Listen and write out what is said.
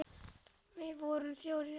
Við vorum þrjár í þessu.